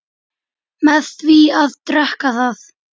með því að drekka það